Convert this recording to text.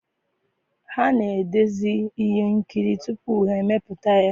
ha na-edezi ihe nkiri tupu ha emepụta ya.